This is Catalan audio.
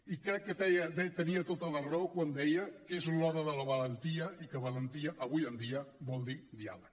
i crec que tenia tota la raó quan deia que és l’hora de la valentia i que valentia avui en dia vol dir diàleg